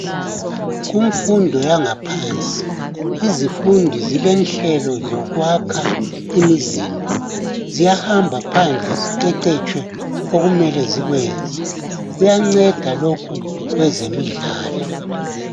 Kumfundo yangaphansi izifundi zilenhlelo zokwakha imizimba. Ziyahamba phandle ziqeqetshwe okumele zikwenze. Kuyanceda lokhu kwezemidlalo.